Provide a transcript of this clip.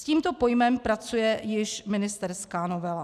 S tímto pojmem pracuje již ministerská novela.